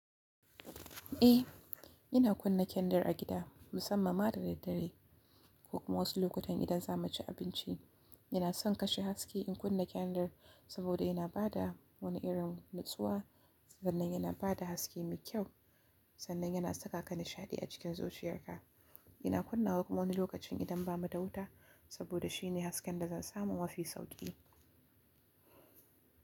Eh, ina kunna kyandir a gida musamman ma da daddare ko kuma wasu lokutan idan za mu ci abinci. Ina son kashe haske in kunna kandar saboda yana ba da wani irin nutsuwa sannan yana ba da haske mai kyau sannan yana saka ka nishaɗi a cikin zuciyarka. Ina kunna wata wani lokacin idan ba mu da wuta saboda shi ne hasken da zan samu mafi sauƙi.